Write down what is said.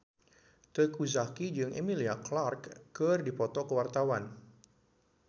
Teuku Zacky jeung Emilia Clarke keur dipoto ku wartawan